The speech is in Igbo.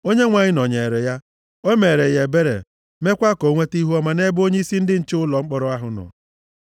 Onyenwe anyị nọnyeere ya. O meere ya ebere, mekwa ka o nweta ihuọma nʼebe onyeisi ndị nche ụlọ mkpọrọ ahụ nọ.